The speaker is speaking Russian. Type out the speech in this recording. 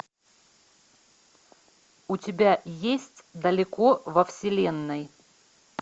у тебя есть далеко во вселенной